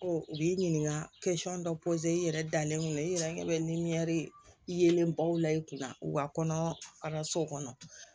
u b'i ɲininka dɔ i yɛrɛ dalen kun don i yɛrɛ ɲɛ bɛ yelenbaw la i kunna u ka kɔnɔ kalanso kɔnɔ